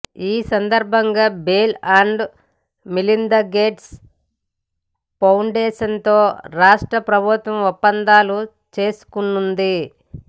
ఈ సందర్బంగా Bill and Melinda Gates ఫౌండేషన్తో రాష్ట్ర ప్రభుత్వం ఒప్పందాలు చేసుకోనుంది